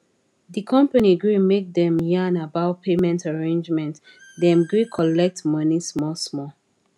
the company gree make dem yan about payment arrangement dem gree colet money small small